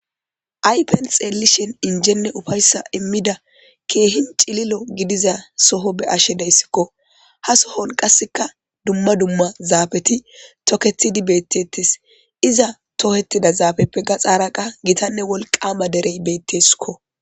aypen xeelishen injenne ufayssa immida keehin cililo gidiza soho be ashe deyssikko ha sohon qasseka dumma dumma zaappti toketidi beettetes iza tohettida zaabeppe ga xaaraka gitanne wolqaama derey beettesikko